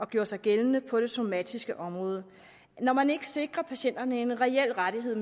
gjorde sig gældende på det somatiske område når man ikke sikrer patienterne en reel rettighed